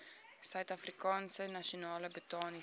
suidafrikaanse nasionale botaniese